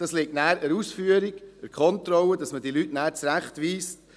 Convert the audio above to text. Es liegt dann an der Ausführung, an der Kontrolle, dass man diese Leute zurechtweist.